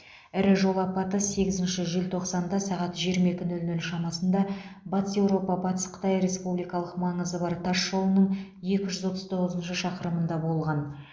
ірі жол апаты сегізінші желтоқсанда сағат жиырма екі нөл нөл шамасында батыс еуропа батыс қытай республикалық маңызы бар тас жолының екі жүз отыз тоғызыншы шақырымында болған